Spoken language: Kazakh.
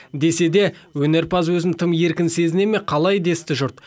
десе де өнерпаз өзін тым еркін сезіне ме қалай десті жұрт